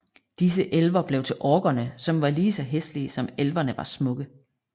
Disse elver blev til orkerne som var lige så hæslige som elverne var smukke